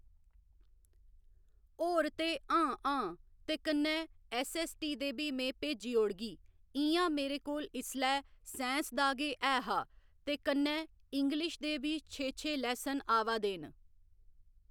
होर ते हां हां ते कन्ने ऐस्सऐस्सटी दे बी में भेजी ओड़गी इ'यां मेरे कोल इसलै साईंस दा गै ऐहा ते कन्नै इंग्लिश दे बी छे छे लैसन आवा दे न